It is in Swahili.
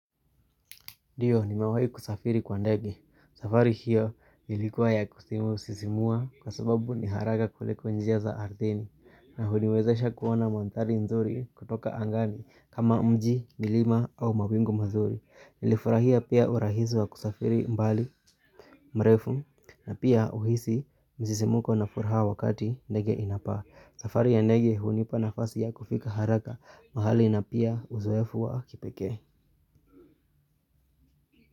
Ndiyo ni mawai kusafiri kwa ndege, safari hiyo ilikuwa ya kusimu sisimua kwa sababu ni haraka kuliko njia za ardhini, na huniwezesha kuona manthari nzuri kutoka angani kama mji, milima, au mambingu mazuri, nilifurahia pia urahisi wa kusafiri umbali mrefu na pia huhisi msisimuko na furaha wakati ndege inapaa, safari ya ndege hunipa nafasi ya kufika haraka mahali na pia uzoefu wa kipekee.